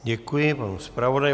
Děkuji panu zpravodaji.